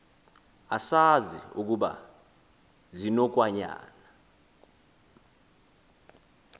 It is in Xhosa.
asazi ukuba zinokwayama